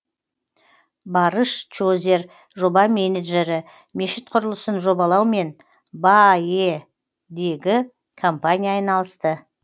барыш чозер жоба менеджері мешіт құрылысын жобалаумен баә дегі компания айналысты